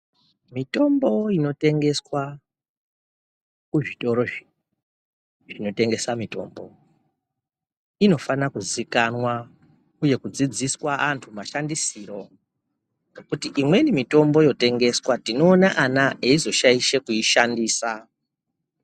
Mitombo inotengeswa kuzvitorozvo zvinotengesa mitombo inofana kuzikanwa uye kudzidziswa anhu mashandisiro, nokuti imweni tinoona ana eizoshaisha kuishandisa.